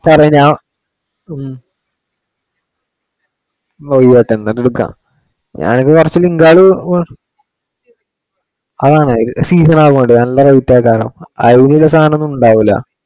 സാറേ ഞാൻ ഉം മൊഴിയായിട്ടു എന്തെങ്കിലും കാണും. ഞാൻ ഇപ്പൊ കുറച്ചു link ഉകള്, അതാണ് season ആവുന്നുണ്ട്‌. നല്ല rate ആയി കാണും. അതിനുള്ള സാധനം ഒന്നും ഉണ്ടാവുല്ല.